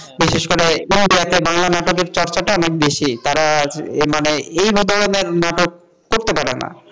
বিশেষ করে ইন্ডিয়া তে বাংলা নাটকের চর্চাটা অনেক বেশি তারা মানে এইভাবে নাটক করতে পারে না,